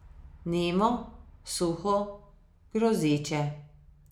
Nemo, suho, grozeče.